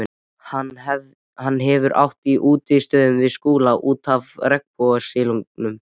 Hann hefur átt í útistöðum við Skúla út af regnbogasilungi.